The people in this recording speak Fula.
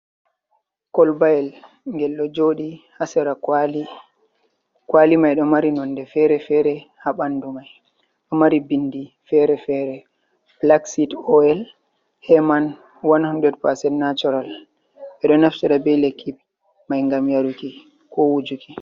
Kolbayel ngel ɗo joɗi ha sira kwali mai ɗo mari nonde fere-fere ha bandu mai, do mari bindi fere-fere, blaxid oil he man 100 natural, ɓe ɗo naftira be lekki mai gam yaruki ko wujuki.